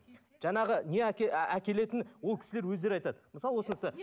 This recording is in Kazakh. жаңағы не әкелетінін ол кісілер өздері айтады